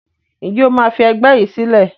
Ǹjẹ́ o máa fi ẹgbẹ́ yìí sílẹ̀?